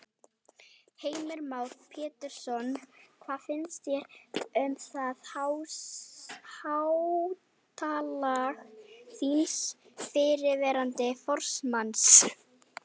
Heimir Már Pétursson: Hvað finnst þér um það háttalag þíns fyrrverandi formanns?